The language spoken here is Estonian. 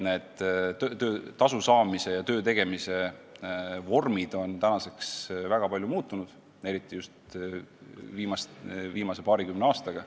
Tasu saamise ja töö tegemise vormid on väga palju muutunud, eriti just viimase paarikümne aastaga.